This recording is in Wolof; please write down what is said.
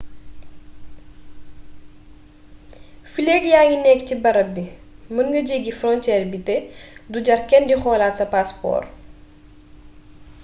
fileek yaa ngi nekk ci barab bii mën nga jéggi fronceer bi te du jar kenn di xoolaat sa paaspoor